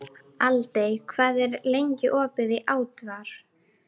Aldey, hvað er lengi opið í ÁTVR?